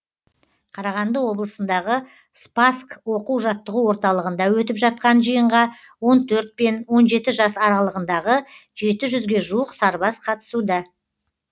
қарағанды облысындағы спасск оқу жаттығу орталығында өтіп жатқан жиынға он төрт пен он жеті жас аралығындағы жеті жүзге жуық сарбаз қатысуда